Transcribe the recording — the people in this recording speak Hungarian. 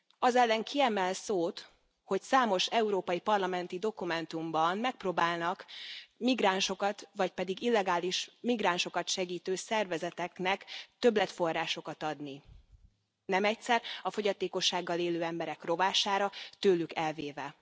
Az ellen ki emel szót, hogy számos európai parlamenti dokumentumban megpróbálnak migránsokat, vagy pedig illegális migránsokat segítő szervezeteknek többletforrásokat adni, nem egyszer a fogyatékossággal élő emberek rovására, tőlük elvéve.